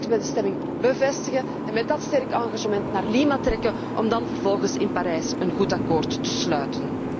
Laten wij dat straks bij de stemming bevestigen en met dat sterk engagement naar Lima trekken om dan vervolgens in Parijs een goed akkoord te sluiten.